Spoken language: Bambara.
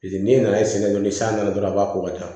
Paseke n'i nana sɛnɛ kɛ ni san nana dɔrɔn a b'a ko ka taa